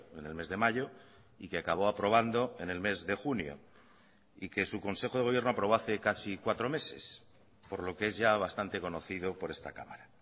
en el mes de mayo y que acabó aprobando en el mes de junio y que su consejo de gobierno aprobó hace casi cuatro meses por lo que es ya bastante conocido por esta cámara